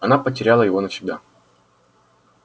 она потеряла его навсегда